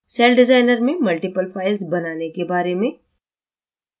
cell designer में multiple files बनाने के बारे में